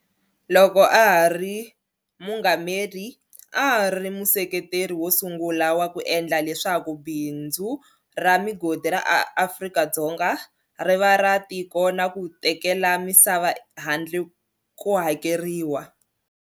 Loko a ha ri muungameri, a a ri museketeri wo sungula wa ku endla leswaku bindzu ra migodi ra Afrika-Dzonga ri va ra tiko na ku tekela misava handle ko hakeriwa.